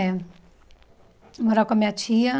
É. Morar com a minha tia.